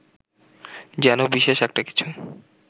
যেন বিশেষ একটা কিছু